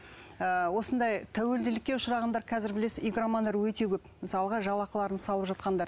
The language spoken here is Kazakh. ы осындай тәуелділікке ұшырағандар қазір білесіз игромандар өте көп мысалға жалақыларын салып жатқандар